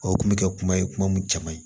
O kun bɛ kɛ kuma ye kuma mun caman ye